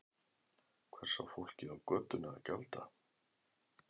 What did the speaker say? Hvers á fólkið á götunni að gjalda?